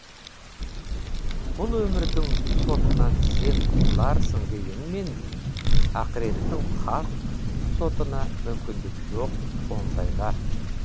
бұл өмірдің сотынан сен құтыларсың дегенмен ақыреттің хақ сотына мүмкіндік жоқ ондайға